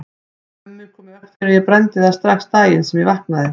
Mummi kom í veg fyrir að ég brenndi þær strax daginn sem ég vaknaði.